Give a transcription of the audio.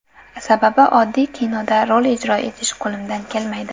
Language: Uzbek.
Sababi oddiy kinoda rol ijro etish qo‘limdan kelmaydi.